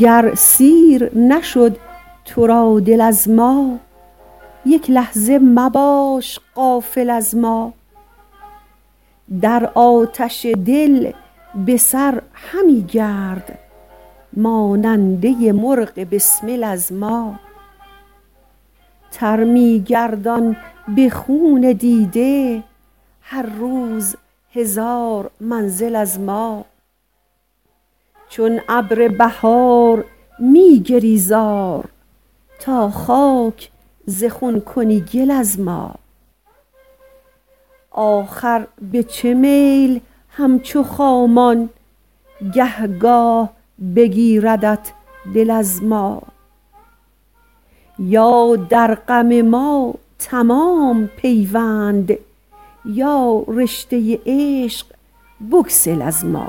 گر سیر نشد تو را دل از ما یک لحظه مباش غافل از ما در آتش دل بسر همی گرد ماننده مرغ بسمل از ما تر می گردان به خون دیده هر روز هزار منزل از ما چون ابر بهار می گری زار تا خاک ز خون کنی گل از ما آخر به چه میل همچو خامان گه گاه بگیردت دل از ما یا در غم ما تمام پیوند یا رشته عشق بگسل از ما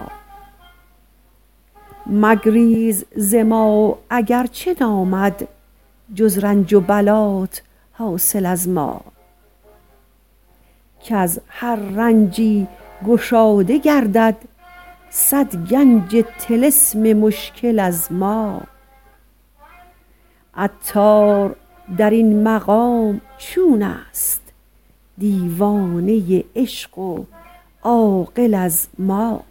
مگریز ز ما اگرچه نامد جز رنج و بلات حاصل از ما کز هر رنجی گشاده گردد صد گنج طلسم مشکل از ما عطار در این مقام چون است دیوانه عشق و عاقل از ما